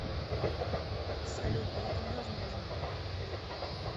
салют но это невозможно